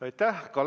Aitäh!